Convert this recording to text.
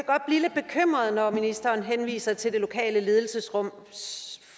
godt blive lidt bekymret når ministeren henviser til det lokale ledelsesrum